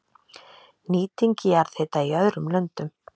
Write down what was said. Nýting jarðhita í öðrum löndum